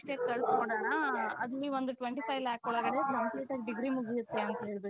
ಕಳುಸ್ಬಿಡಣ ಅದು ನೀವು ಒಂದು twenty five lakh ಒಳಗಡೆ complete ಆಗಿ degree ಮುಗಿಯತ್ತೆ ಅಂತ ಹೇಳ್ಬಿಟ್ಟು.